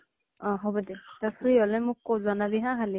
অ হʼব দে । তই free হʼলে জনাবি হা মোক খালি